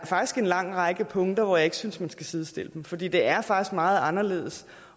faktisk en lang række punkter hvor jeg ikke synes man skal sidestille dem for det er meget anderledes